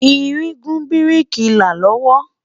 ìrìn gùn biriki là lowo